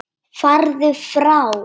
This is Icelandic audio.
Farðu frá!